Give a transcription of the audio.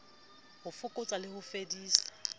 ho fokotsa le ho fedisa